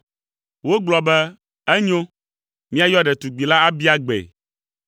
Wogblɔ be, “Enyo, míayɔ ɖetugbi la abia gbee.”